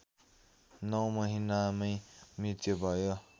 नौ महिनामै मृत्यु भयो